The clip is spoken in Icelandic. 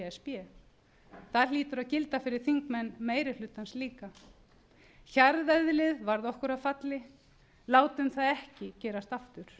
b það hlýtur að gilda fyrir þingmenn meirihlutans líka hjarðeðlið varð okkur að falli látum það ekki gerast aftur